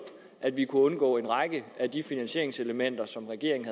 at vi kunne undgå en række af de finansieringselementer som regeringen